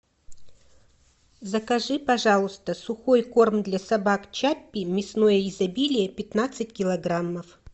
закажи пожалуйста сухой корм для собак чаппи мясное изобилие пятнадцать килограммов